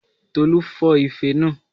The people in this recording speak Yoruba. Tolú fọ́ ife naa